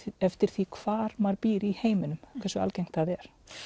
eftir því hvar maður býr í heiminum hversu algengt það er